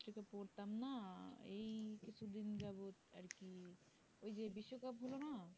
পড়তাম না এই একটু দিন যাবে আরকি এই যে বেশির ভাগ গুলো নাই